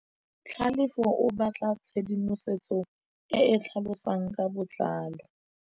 Tlhalefô o batla tshedimosetsô e e tlhalosang ka botlalô.